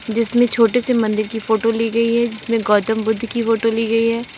जिसमें छोटे से मंदिर की फोटो ली गई है जिसमें गौतम बुद्ध की फोटो ली गई है।